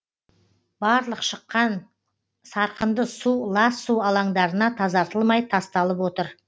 барлық шыққан сарқынды су лас су алаңдарына тазартылмай тасталып отыр